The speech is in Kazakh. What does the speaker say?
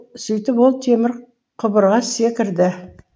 сөйтіп ол темір құбырға секірді